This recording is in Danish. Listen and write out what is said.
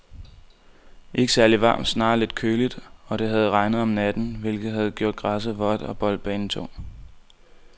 Ikke særligt varmt, snarere lidt køligt, og det havde regnet om natten, hvilket havde gjort græsset vådt og boldbanen tung.